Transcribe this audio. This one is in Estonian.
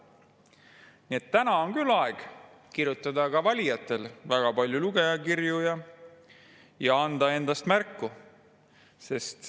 Nii et praegu on küll aeg, et valijad kirjutaks väga palju lugejakirju ja annaks endast märku.